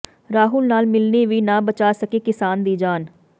ਰਾਹੁਲ ਨਾਲ ਮਿਲਣੀ ਵੀ ਨਾ ਬਚਾ ਸਕੀ ਕਿਸਾਨ ਦੀ ਜਾਨ